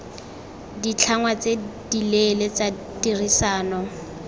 ditlhangwa tse dileele tsa tirisano